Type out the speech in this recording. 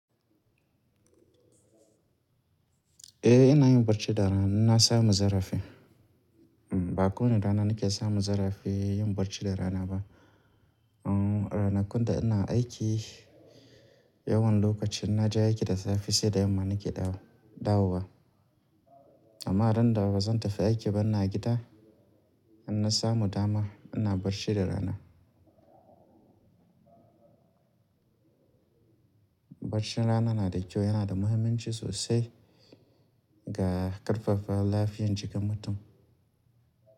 Eh ina yin barci da rana, in na samu zarafi. Hm, ba kowani rana nake samun zarafi yin barci da rana ba. Uhm, ranakun da ina aiki, yawan lokaci in na je aiki da safe sai da yamma nake dawowa. Amma ran da bazan tafi aiki ba ina gida, in na samu dama ina barci da rana. Barcin rana na da kyau, yana da muhimmanci sosai ga ƙarfafa lafiyar jikin mutum.